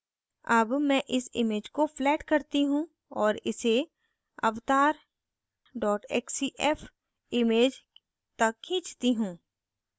अब मैं इस image को flatten करती हूँ और इसे avatar xcf image तक खींचती हूँ